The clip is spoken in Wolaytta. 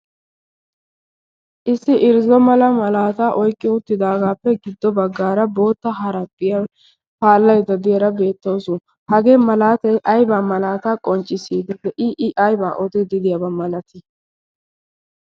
issi irzzo mala malaata oyqqi uuttidaagaappe giddo baggaara bootta haraphphiyaa paallaydda diyaara beettawusu. hagee malaatay aybaa malaata qonccissiidi de'ii? aybaa ootiidi diyaabaa malatii?